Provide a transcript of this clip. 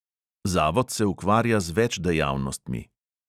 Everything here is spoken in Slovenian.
Zavod se ukvarja z več dejavnostmi.